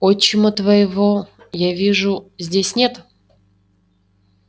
отчима твоего я вижу здесь нет